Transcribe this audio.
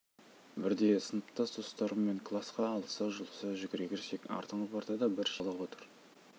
бірде сыныптас достарыммен класқа алыса-жұлыса жүгіре кірсек артыңғы партада бір шикіл сары бала отыр